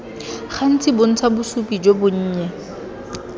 gantsi bontsha bosupi jo bonnye